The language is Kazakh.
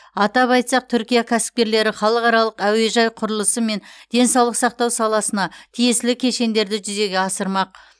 атап айтсақ түркия кәсіпкерлері халықаралық әуежай құрылысы мен денсаулық сақтау саласына тиесілі кешендерді жүзеге асырмақ